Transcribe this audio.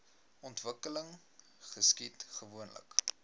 ontwikkeling geskied gewoonlik